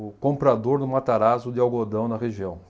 o comprador do Matarazzo de algodão na região.